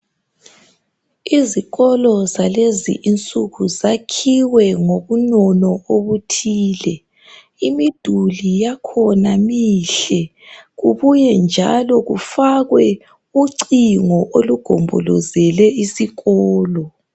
Izikolo zalezi insuku zakhiwe ngobunono obuthile. Imiduli yakhona mihle. Kubuye njalo, kufakwe ucingo, olugombolozele isikolo.